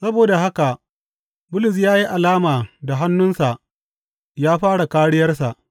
Saboda haka Bulus ya yi alama da hannunsa ya fara kāriyarsa.